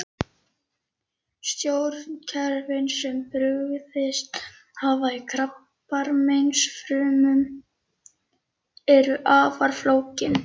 Stjórnkerfin sem brugðist hafa í krabbameinsfrumum eru afar flókin.